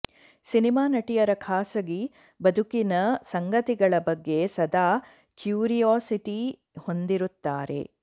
cinema ನಟಿಯರ ಖಾಸಗಿ ಬದುಕಿನ ಸಂಗತಿಗಳ ಬಗ್ಗೆ ಸದಾ ಕ್ಯೂರಿಯಾಸಿಟಿ ಹೊಂದಿರುತ್ತಾರೆ